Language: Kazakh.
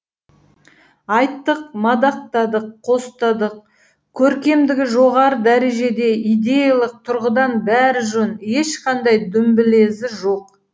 айттық мадақтадық қостадық көркемдігі жоғары дәрежеде идеялық тұрғыдан бәрі жөн ешқандай дүмбілезі жоқ